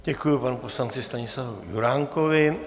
Děkuji panu poslanci Stanislavu Juránkovi.